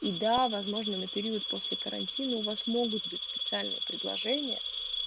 и да возможно на период после карантина у вас могут быть специальные предложения